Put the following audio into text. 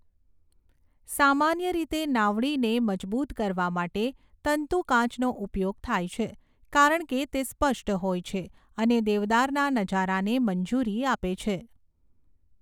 સામાન્ય રીતે, નાવડીને મજબૂત કરવા માટે તંતુકાચનો ઉપયોગ થાય છે કારણ કે તે સ્પષ્ટ હોય છે અને દેવદારના નજારાને મંજૂરી આપે છે.